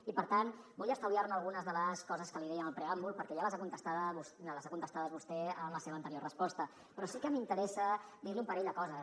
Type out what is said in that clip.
i per tant vull estalviar me algunes de les coses que li deia en el preàmbul perquè ja les ha contestades vostè en la seva anterior resposta però sí que m’interessa dir li un parell de coses